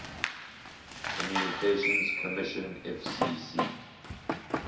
communications commission fcc